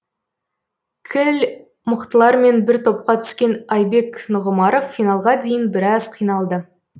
кіл мықтылармен бір топқа түскен айбек нұғымаров финалға дейін біраз қиналды